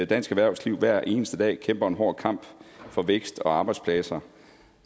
dansk erhvervsliv hver eneste dag kæmper en hård kamp for vækst og arbejdspladser